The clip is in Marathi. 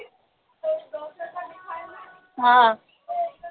हा